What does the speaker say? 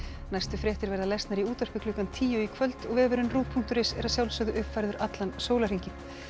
næstu fréttir verða lesnar í útvarpi klukkan tíu í kvöld og vefurinn punktur is er að sjálfsögðu uppfærður allan sólarhringinn